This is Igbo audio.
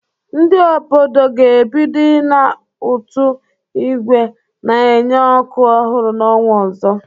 Ndị obodo ga-ebido ịna ụtụ ígwè na-enye ọkụ ọhụrụ n’ọnwa ọzọ.